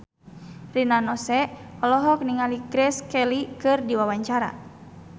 Rina Nose olohok ningali Grace Kelly keur diwawancara